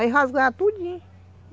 Aí rasgava tudinho.